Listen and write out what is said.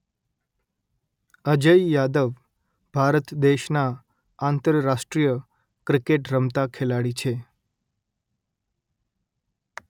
અજય યાદવ ભારત દેશના આંતરરાષ્ટ્રીય ક્રિકેટ રમતા ખેલાડી છે